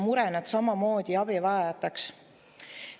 ... nad samamoodi abivajajateks.